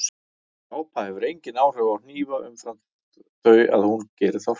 Sápa hefur engin áhrif á hnífa umfram þau að hún gerir þá hreina.